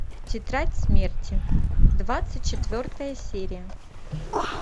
тетрадь смерти двадцать четвертая серия